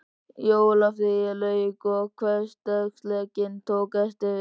Jólafríinu lauk og hversdagsleikinn tók aftur við.